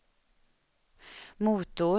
motor